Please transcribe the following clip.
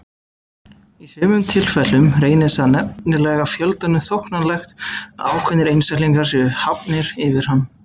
Í sumum tilfellum reynist það nefnilega fjöldanum þóknanlegt að ákveðnir einstaklingar séu hafnir yfir hann.